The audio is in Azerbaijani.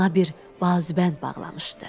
Qoluna bir bazubənd bağlamışdı.